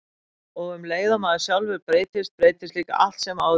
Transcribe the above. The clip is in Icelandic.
Og um leið og maður sjálfur breytist, breytist líka allt sem áður var.